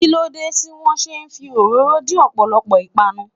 Kí ló dé tí wọ́n ṣe ń fi òróró dín ọ̀pọ̀lọpọ̀ ìpànu?